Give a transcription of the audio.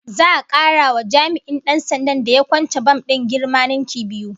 Za'a kara wa jami'in Dan sandan da ya kwance bam din girma ninki biyu